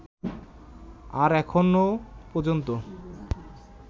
আর এখনও পর্যন্ত